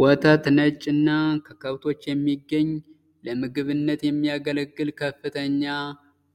ወተት ነጭ እና ከከብቶች የሚገኝ ለምግብነት የሚያገለግል ከፍተኛ